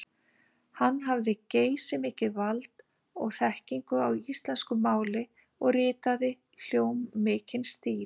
Hann hafði geysimikið vald og þekkingu á íslensku máli og ritaði hljómmikinn stíl.